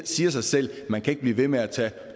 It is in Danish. siger sig selv at man ikke kan blive ved med at tage